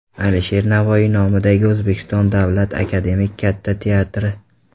Alisher Navoiy nomidagi O‘zbekiston davlat akademik Katta teatri.